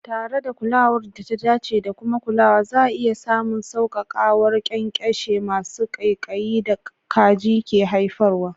Tare da kulawar da ta dace da kuma kulawa, za'a iya samun sauƙaƙawar ƙyanƙyashe masu ƙaiƙayi da kaji ke haifarwa.